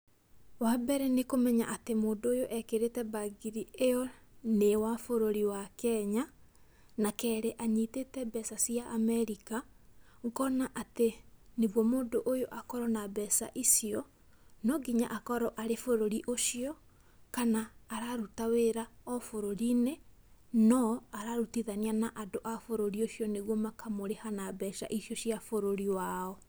Wambere nĩ kũmenya atĩ mũndũ ũyũ ekĩrĩte mbangiri ĩyo nĩ wa bũrũrĩ wa Kenya, na kerĩ anyĩtĩte mbeca cia Amerika, ũkona atĩ, nĩguo mũndũ ũyũ akorwo na mbeca icio, no nginya akorwo e-bũruri ũcio kana araruta wĩra o bũrũri-inĩ no, ararutithania na andũ a bũrũri ũcio nĩgũo makamũriha na mbeca icio cia bũrũri wao.